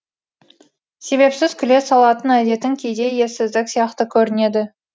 себепсіз күле салатын әдетің кейде ессіздік сияқты көрінеді